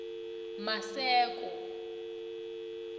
maseko